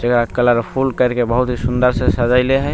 जगह colourful करके बहुत ही सुन्दर से सजेले हए।